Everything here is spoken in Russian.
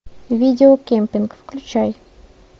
видео кемпинг включай